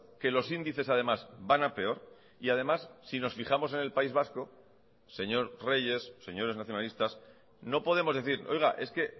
que los índices además van a peor y además si nos fijamos en el país vasco señor reyes señores nacionalistas no podemos decir oiga es que